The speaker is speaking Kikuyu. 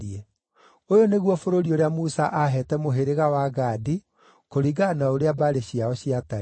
Ũyũ nĩguo bũrũri ũrĩa Musa aaheete mũhĩrĩga wa Gadi, kũringana na ũrĩa mbarĩ ciao ciatariĩ: